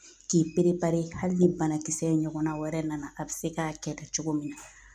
K'i hali ni banakisɛ in ɲɔgɔnna wɛrɛ nana a bɛ se k'a kɛlɛ cogo min na